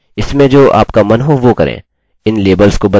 इसमें जो आपका मन हो वो करें इन लेबल्स को बदलें